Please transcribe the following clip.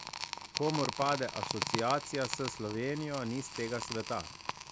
Komur pade asociacija s Slovenijo, ni s tega sveta.